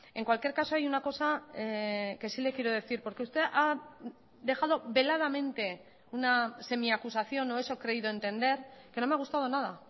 en cualquier caso hay una cosa que sí le quiero decir porque usted ha dejado veladamente una semiacusación o eso he creído entender que no me ha gustado nada